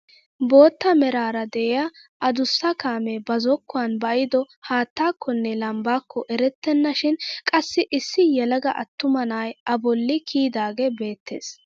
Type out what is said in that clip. Bootta meraara de'iyaa adussa kaamee ba zokkuwaan ba'ido haattakonne lambbaakko erettena shin qassi issi yelaga attuma na'ay a bolli kiyidaagee beettees.